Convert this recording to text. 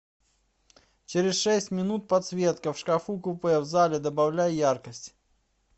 через шесть минут подсветка в шкафу купе в зале добавляй яркость